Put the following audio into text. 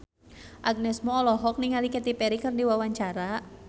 Agnes Mo olohok ningali Katy Perry keur diwawancara